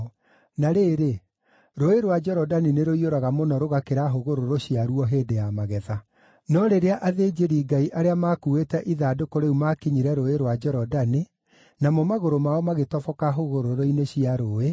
Na rĩrĩ, nĩgũkorwo Rũũĩ rwa Jorodani nĩrũiyũraga mũno rũgakĩra hũgũrũrũ ciaguo hĩndĩ ya magetha. No rĩrĩa athĩnjĩri-Ngai arĩa maakuuĩte ithandũkũ rĩu maakinyire Rũũĩ rwa Jorodani, namo magũrũ mao magĩtoboka hũgũrũrũ-inĩ cia rũũĩ,